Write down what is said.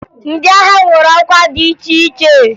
Ndị agha nwere ọkwa dị iche iche